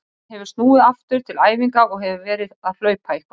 Hann hefur snúið aftur til æfinga og hefur verið að hlaupa eitthvað.